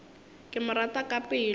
ke mo rata ka pelo